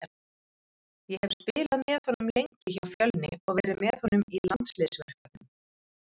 Ég hef spilað með honum lengi hjá Fjölni og verið með honum í landsliðsverkefnum.